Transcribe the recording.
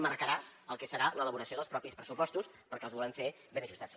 marcarà el que serà l’elaboració dels propis pressupostos perquè els volem fer ben ajustats